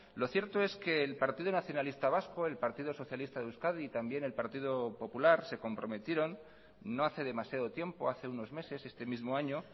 lo cierto es que el partido nacionalista vasco el partido socialista de euskadi y también el partido popular se comprometieron no hace demasiado tiempo hace unos meses este mismo año